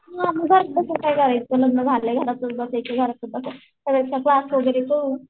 मग घरात बसून काय करायचं लग्न झालंय घरातच बसायचं घरातच बसायचं